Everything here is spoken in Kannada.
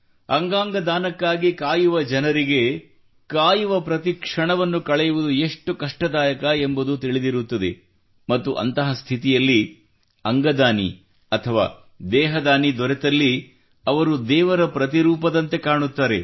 ಅಂಗಾಂಗ ದಾನಕ್ಕಾಗಿ ಕಾಯುವ ಜನರಿಗೆ ಕಾಯುವ ಪ್ರತಿ ಕ್ಷಣವನ್ನು ಕಳೆಯುವುದು ಎಷ್ಟು ಕಷ್ಟದಾಯಕ ಎಂಬುದು ತಿಳಿದಿರುತ್ತದೆ ಮತ್ತು ಅಂತಹ ಸ್ಥಿತಿಯಲ್ಲಿ ಅಂಗದಾನಿ ಅಥವಾ ದೇಹದಾನಿ ದೊರೆತಲ್ಲಿ ಅವರು ದೇವರ ಪ್ರತಿರೂಪದಂತೆ ಕಾಣುತ್ತಾರೆ